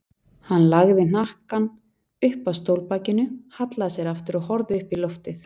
Hann lagði hnakkann upp að stólbakinu, hallaði sér aftur og horfði upp í loftið.